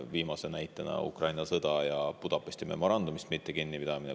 Viimane näide on Ukraina sõda ja Budapesti memorandumist mittekinnipidamine.